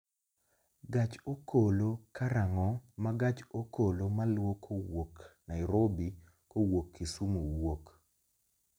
Gach okolo karang'o ma gach okolo maluwo kowuok nairobi kowuok kisumu wuok